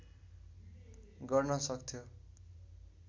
गर्न सक्थ्यो